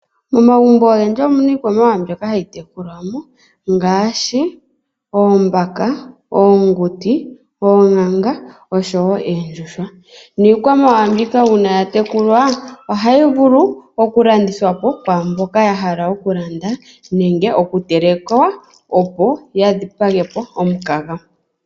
Momagumbo ogendji omuna iikwamawawa mbyoka hayi tekulwamo ngaashi oombaka, oonguti ,oonkanga osho woo oondjuhwa niikwamawawa mbika uuna yatekulwa ohayi vulu okulandithwapo kwaamboka ya hala okulanda nenge okutelekwa opo yadhipagepo omukaga.